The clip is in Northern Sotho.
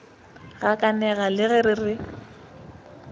gakanega le ge re re